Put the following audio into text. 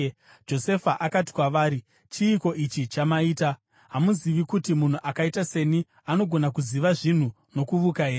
Josefa akati kwavari, “Chiiko ichi chamaita? Hamuzivi kuti munhu akaita seni anogona kuziva zvinhu nokuvuka here?”